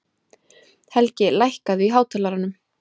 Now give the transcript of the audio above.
Helgi, lækkaðu í hátalaranum.